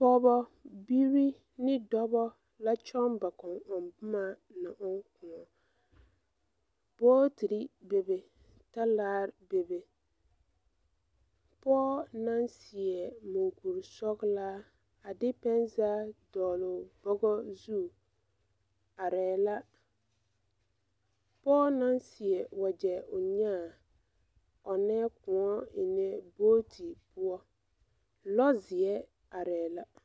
Pɔɔbɔ ne dɔbɔ la kyɔŋ ba kɔŋbomma na ɔŋ kõɔ booterre bebe talaare bebe pɔɔ naŋ seɛ munkurisɔglaa a de pɛnzag dɔɔlɔɔ bugɔ zu areɛɛ la pɔɔ naŋ seɛ wagyɛ o nyaa ɔŋnɛɛ kõɔ eŋnɛ boote poɔ lɔzeɛ areɛɛ la.